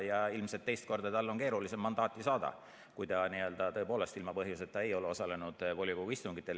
Ilmselt on tal teist korda keerulisem mandaati saada, kui ta tõepoolest ilma põhjuseta ei ole osalenud volikogu istungitel.